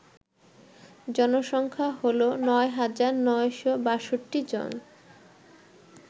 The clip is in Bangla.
জনসংখ্যা হল ৯৯৬২ জন